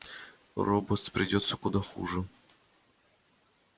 роботс придётся куда хуже